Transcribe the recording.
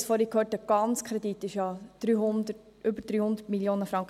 Wir hörten es vorhin, der ganze Kredit beträgt über 300 Mio. Franken.